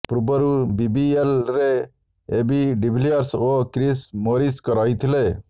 ପୂର୍ବରୁ ବିବିଏଲରେ AB de Villiers ଓ କ୍ରିସ୍ ମୋରିସ ରହିଥିଲେ